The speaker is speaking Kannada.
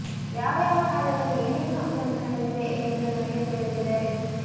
ಯಾವ ಯಾವ ಕಾಲದಲ್ಲಿ ಏನೇನು ಅಕ್ರಮ ನಡೆದಿದೆ ಎಂದು ನನಗೆ ತಿಳಿದಿದೆ